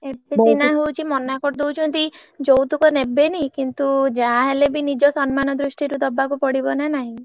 ଏବେ ସିନା ହଉଛି ମନା କରିଦଉଛନ୍ତି ଯୌତୁକ ନେବେଣୀୟ କିନ୍ତୁ ଯାହା ହେଲେ ବି ନିଜ ସନ୍ନମାନ ଦୃଷ୍ଟି ରୁ ଦବାକୁ ପଡିବ ନା ନାହିଁ।